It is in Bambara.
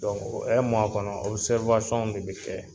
o kɔnɔ w de be kɛ